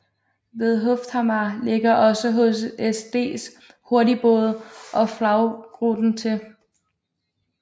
Ved Hufthamar lægger også HSDs hurtigbåde og Flaggruten til